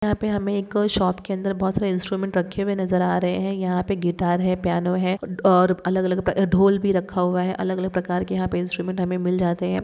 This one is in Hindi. यहाँ पे हमे एक शप के अंदर बोहोत सरे इंस्ट्रूमेंट रखे हुए नजर आ रहे है यहाँ पे गिटार है पियानो है उड और अलग अलग प्र आ ढोल भी रखा हुआ है अलग अलग प्रकार के यहाँ पे इंस्ट्रूमेंट हमे मिल जाते है।